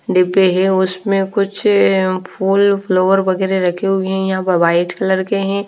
डिब्बे हैं उसमें कुछ फूल फ्लावर वगेरह रखे हुए है वाइट कलर के हैं--